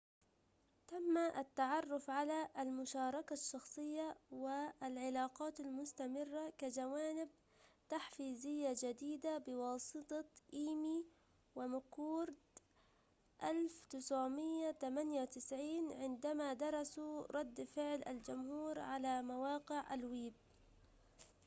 تم التعرف على المشاركة الشخصية و العلاقات المستمرة كجوانب تحفيزية جديدة بواسطة إيمي ومكورد 1998 عندما درسوا رد فعل الجمهور على مواقع الويب